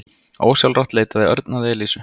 Ósjálfrátt leitaði Örn að Elísu.